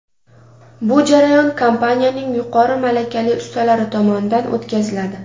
Bu jarayon kompaniyaning yuqori malakali ustalari tomonidan o‘tkaziladi.